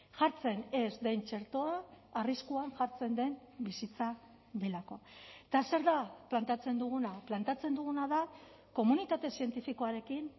jartzen ez den txertoa arriskuan jartzen den bizitza delako eta zer da planteatzen duguna planteatzen duguna da komunitate zientifikoarekin